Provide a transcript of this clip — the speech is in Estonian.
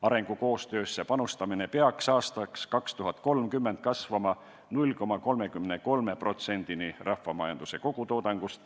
Arengukoostöösse panustamine peaks aastaks 2030 kasvama 0,33%-ni rahvamajanduse kogutoodangust.